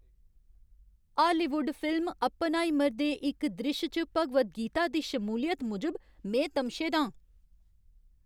Hollywood film 'Oppenheimer' दे इक द्रिश्श च भगवद गीता दी शमूलियत मूजब में तमशे दा आं।